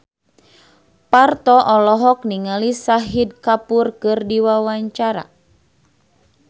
Parto olohok ningali Shahid Kapoor keur diwawancara